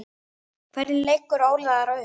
Hvernig leggur Óli það upp?